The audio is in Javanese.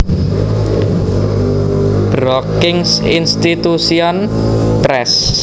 Brookings Institution Press